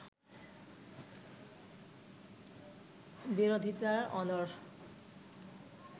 বিরোধিতায় অনড়